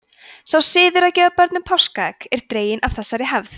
sá siður að gefa börnum páskaegg er dreginn af þessari hefð